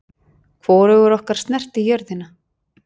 Hvorugur okkar snerti jörðina.